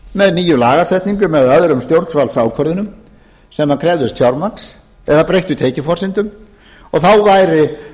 með nýjum lagasetningum eða öðrum stjórnvaldsákvörðunum sem krefðust fjármagns eða breyttu tekjuforsendum og